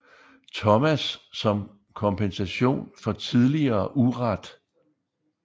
Thomas som kompensation for tidligere uret